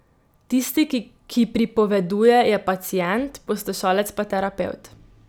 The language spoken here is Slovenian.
Tisti, ki pripoveduje, je pacient, poslušalec pa terapevt.